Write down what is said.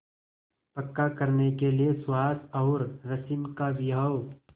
पक्का करने के लिए सुहास और रश्मि का विवाह